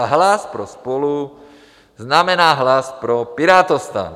A hlas pro SPOLU znamená hlas pro PirátoSTAN.